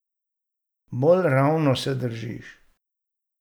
Bolj ravno se držiš.